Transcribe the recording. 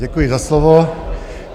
Děkuji za slovo.